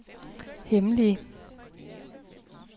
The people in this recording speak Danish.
hemmelige